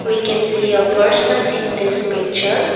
we can see a person in this picture.